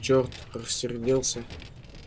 черт рассердился плужников